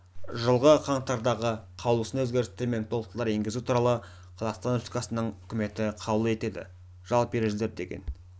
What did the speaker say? жылғы қаңтардағы қаулысына өзгерістер мен толықтырулар енгізу туралы қазақстан республикасының үкіметі қаулы етеді жалпы ережелер деген